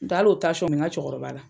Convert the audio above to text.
N t'o hal'o me ŋa cɛkɔrɔba la.